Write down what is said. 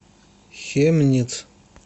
хемниц